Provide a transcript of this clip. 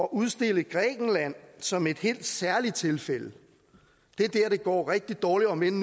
udstille grækenland som et helt særligt tilfælde det er dér det går rigtig dårligt om end